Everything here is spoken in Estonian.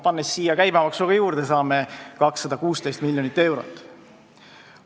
Pannes siia juurde käibemaksu, saame 216 miljonit eurot.